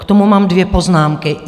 K tomu mám dvě poznámky.